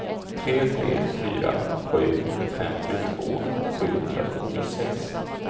tre tre fyra sju femtiotvå sjuhundrasjuttiosex